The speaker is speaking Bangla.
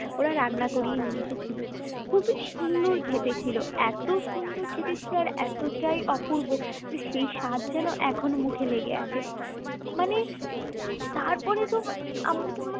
ওরা রান্না করিয়ে নিয়ে এসেছিল খুবই সুন্দর খেতে ছিল এত সুন্দর খেতে ছিল আর এতটাই অপূর্ব যে সেই সাধ যেন এখনো মুখে লেগে আছে মানে তারপরে তো আমরা তো মানে